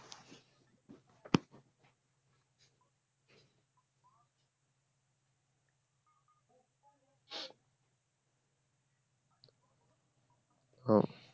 ও